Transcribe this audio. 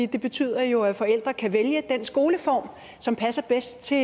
det betyder jo at forældre kan vælge den skoleform som passer bedst til